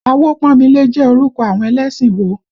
Awopọ́nmilé jẹ́ orúkọ àwọn ẹlẹ́sìn wo?